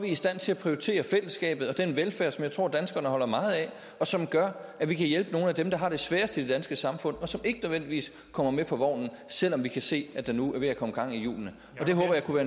i stand til at prioritere fællesskabet og den velfærd som jeg tror danskerne holder meget af og som gør at vi kan hjælpe nogle af dem der har det sværest i det danske samfund og som ikke nødvendigvis kommer med på vognen selv om vi kan se at der nu er ved at komme gang i hjulene det håber jeg kunne